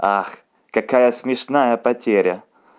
ах какая смешная потеря